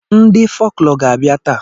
Ndị folklọ ga-abịa taa.